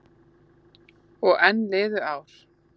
Og enn liðu ár.